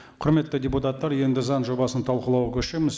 құрметті депутаттар енді заң жобасын талқылауға көшеміз